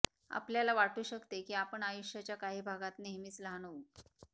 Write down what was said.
आपल्याला वाटू शकते की आपण आयुष्याच्या काही भागात नेहमीच लहान होऊ